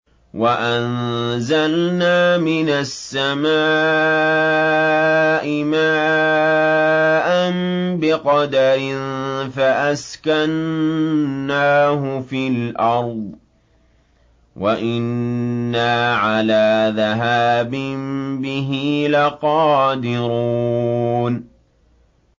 وَأَنزَلْنَا مِنَ السَّمَاءِ مَاءً بِقَدَرٍ فَأَسْكَنَّاهُ فِي الْأَرْضِ ۖ وَإِنَّا عَلَىٰ ذَهَابٍ بِهِ لَقَادِرُونَ